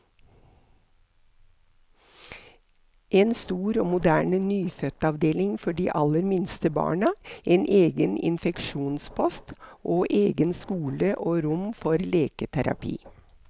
En stor og moderne nyfødtavdeling for de aller minste barna, en egen infeksjonspost, og egen skole og rom for leketerapi.